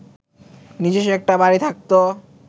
নিজস্ব একটা বাড়ি থাকত